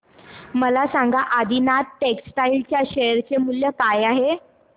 मला सांगा आदिनाथ टेक्स्टटाइल च्या शेअर चे मूल्य काय आहे